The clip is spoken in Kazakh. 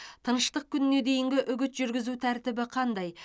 тыныштық күніне дейінгі үгіт жүргізу тәртібі қандай